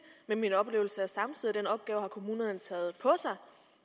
men min oplevelse er samtidig at den opgave har kommunerne taget på sig